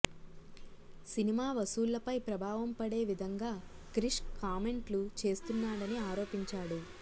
cinema వసూళ్లపై ప్రభావం పడే విధంగా క్రిష్ కామెంట్లు చేస్తున్నాడని ఆరోపించాడు